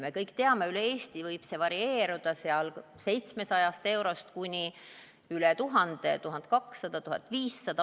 Me kõik teame, et üle Eesti võib see varieeruda 700-st eurost kuni üle 1000, 1200, 1500 euroni.